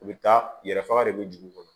U bɛ taa yɛrɛ faga de bɛ dugu kɔnɔ